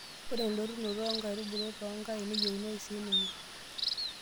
Ore endotunoto oo nkaitubulu toonkain neyieunooyu sii ninye.